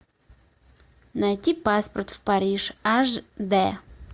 найти паспорт в париж аш дэ